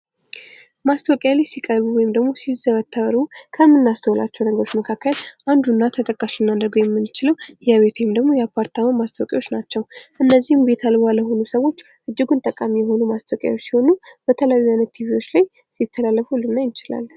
ማስታወቂያ ላይ ሲቀርቡ ወይም ደግሞ ሲዘወተሩ ከምናስተውላቸው ነገሮች መካከል አንዱና ተጠቃሹ ልናደርገው የምንችለው የቤት ወይም ደግሞ የአፓርታማ ማስታወቂያዎች ናቸው። እነዚህም ቤት አልባ ለሆኑ ሰዎች እጅጉን ጠቃሚ የሆኑ ማስታወቂያዎች ሲሆኑ፤ በተለያዩ አይነት ቲቪዎች ላይ ሲተላለፉ ልናይ እንችላለን።